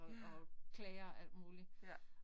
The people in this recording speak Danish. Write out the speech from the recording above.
Ja. Ja